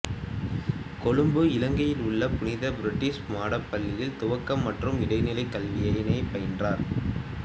கொழும்பு இலங்கையில் உள்ள புனித பிரிட்ஜெட்ஸ் மாடப் பள்ளியில் துவக்க மற்றும் இடைநிலைக் கல்வியினைப் பயின்றார்